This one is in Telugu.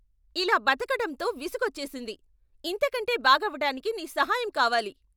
ఇలా బతకటంతో విసుగొచ్చేసింది ! ఇంతకంటే బాగవటానికి నీ సహాయం కావాలి!